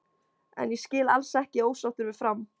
En ég skil alls ekki ósáttur við Fram.